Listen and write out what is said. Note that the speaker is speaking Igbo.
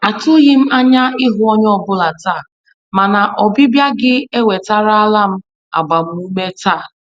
Atụghị m anya ịhụ onye ọ bụla taa, mana ọbịbịa gị ewetarala m agbamume taa.